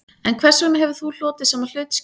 En hvers vegna hefur þú hlotið sama hlutskipti